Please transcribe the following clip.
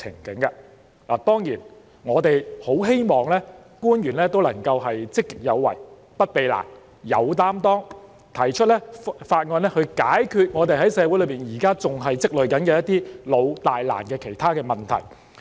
當然，我們很希望政府官員能夠積極有為、不避難、有擔當，提出法案解決社會上現時仍在積累的老、大、難問題。